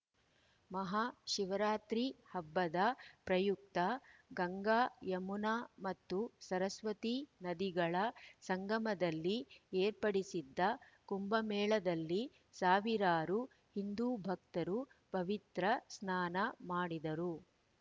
ಮಹಾ ಶಿವರಾತ್ರಿ ಹಬ್ಬದ ಪ್ರಯುಕ್ತ ಗಂಗಾಯುಮನಾ ಮತ್ತು ಸರಸ್ಪತಿ ನದಿಗಳ ಸಂಗಮದಲ್ಲಿ ಏರ್ಪಡಿಸಿದ್ದ ಕುಂಭಮೇಳದಲ್ಲಿ ಸಾವಿರಾರು ಹಿಂದೂಭಕ್ತರು ಪವಿತ್ರ ಸ್ನಾನ ಮಾಡಿದರು